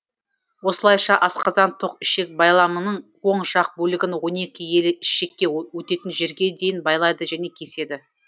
осылайша асқазан тоқ ішек байламының оң жақ бөлігін онекі елі ішекке өтетін жерге дейін байлайды және кеседі